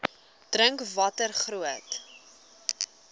dink watter groot